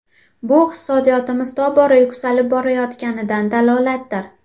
Bu iqtisodiyotimiz tobora yuksalib borayotganidan dalolatdir.